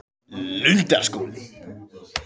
Lundarskóli